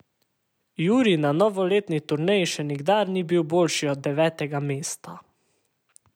Jurij na novoletni turneji še nikdar ni bil boljši od devetega mesta.